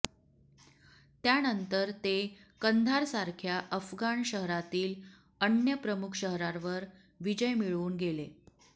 त्यानंतर ते कंधारसारख्या अफगाण शहरातील अन्य प्रमुख शहरांवर विजय मिळवून गेले